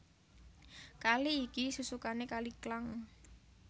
Kali iki susukané Kali Klang